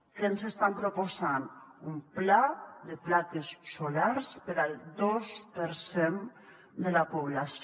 què ens estan proposant un pla de plaques solars per al dos per cent de la població